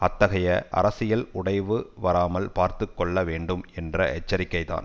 அத்தகைய அரசியல் உடைவு வராமல் பார்த்து கொள்ள வேண்டும் என்ற எச்சரிக்கை தான்